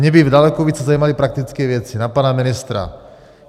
Mě by daleko více zajímaly praktické věci na pana ministra.